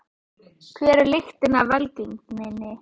Hver er lykilinn að velgengninni?